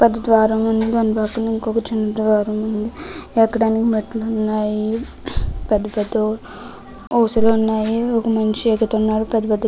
పెద్ద ద్వారం ఉంది దాని పక్కన ఒక చిన్న ద్వారం ఉంది. ఎక్కడానికి మెట్లు ఉన్నాయి. పెద్ధ పెద్ధ ఊసలు ఉన్నాయి. ఒక మనిషి ఎక్కుతున్నాడు.